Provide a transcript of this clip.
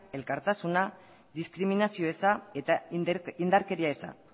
elkartasuna diskriminazio eza eta indarkeria eza